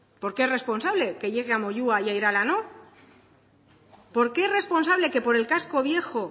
por qué es responsable que llegue a moyua y a irala no por qué es responsable que por el casco viejo